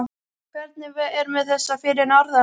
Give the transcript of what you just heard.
Hvernig er með þessa fyrir norðan?